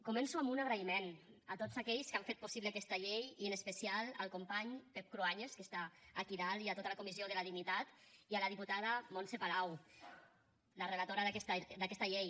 començo amb un agraïment a tots aquells que han fet possible aquesta llei i en especial al company pep cruanyes que està aquí dalt i a tota al comissió de la dignitat i a la diputada montse palau la relatora d’aquesta llei